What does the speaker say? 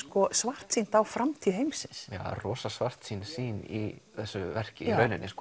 svartsýnt á framtíð heimsins já rosa svartsýn sýn í þessu verki